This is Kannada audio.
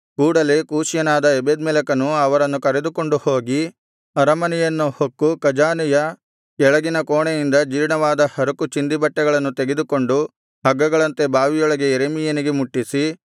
ಕೂಡಲೇ ಕೂಷ್ಯನಾದ ಎಬೆದ್ಮೆಲೆಕನು ಅವರನ್ನು ಕರೆದುಕೊಂಡು ಹೋಗಿ ಅರಮನೆಯನ್ನು ಹೊಕ್ಕು ಖಜಾನೆಯ ಕೆಳಗಿನ ಕೋಣೆಯಿಂದ ಜೀರ್ಣವಾದ ಹರಕು ಚಿಂದಿಬಟ್ಟೆಗಳನ್ನು ತೆಗೆದುಕೊಂಡು ಹಗ್ಗಗಳಂತೆ ಬಾವಿಯೊಳಗೆ ಯೆರೆಮೀಯನಿಗೆ ಮುಟ್ಟಿಸಿ